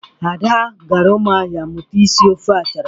Ada gara Ụmụahịa mụta isi ofe achara.